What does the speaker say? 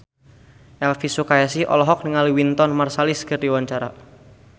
Elvi Sukaesih olohok ningali Wynton Marsalis keur diwawancara